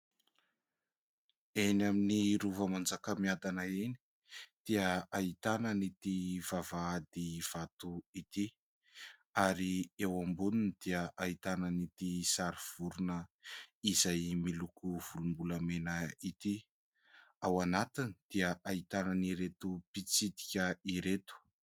Eny amin'ny rova Manjakamiadana eny dia ahitana an'ity vavahady vato ity ary eo amboniny dia ahitana an'ity sary vorona izay miloko volom-bolamena ity. Ao anatiny dia ahitana an'ireto mpitsidika ireto.